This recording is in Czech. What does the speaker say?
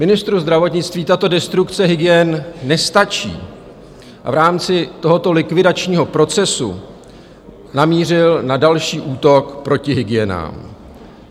Ministru zdravotnictví tato destrukce hygien nestačí a v rámci tohoto likvidačního procesu namířil na další útok proti hygienám.